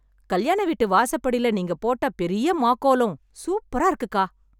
கல்யாண வீட்டு வாசப்படில, நீங்க போட்ட பெரிய மாக்கோலம் சூப்பரா இருக்குக்கா...